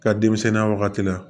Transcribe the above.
Ka denmisɛnninya wagati la